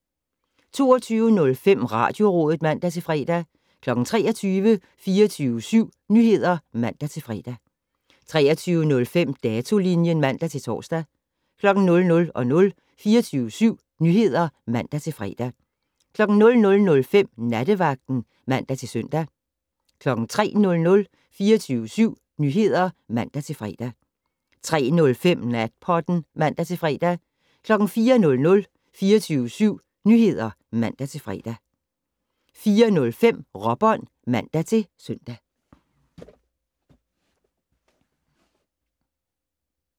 22:05: Radiorådet (man-fre) 23:00: 24syv Nyheder (man-fre) 23:05: Datolinjen (man-tor) 00:00: 24syv Nyheder (man-fre) 00:05: Nattevagten (man-søn) 03:00: 24syv Nyheder (man-fre) 03:05: Natpodden (man-fre) 04:00: 24syv Nyheder (man-fre) 04:05: Råbånd (man-søn)